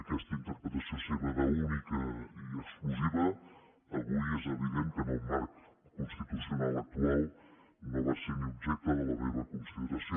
aquesta interpretació seva d’única i exclusiva avui és evident que en el marc constitucional actual no va ser ni objecte de la meva consideració